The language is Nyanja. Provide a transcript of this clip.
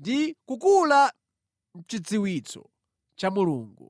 ndi kukula mʼchidziwitso cha Mulungu.